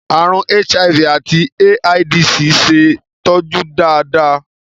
Àrùn HIV àti AIDS ṣe é tọ́jú dáadáa.